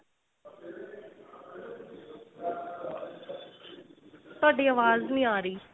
ਤੁਹਾਡੀ ਆਵਾਜ਼ ਨਹੀਂ ਆ ਰਹੀ